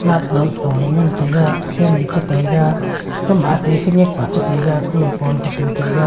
light bulb lo e ngan taiga fan e cha taiga gama ate kanyak pa e cha taiga khu e phone ka tu taiga.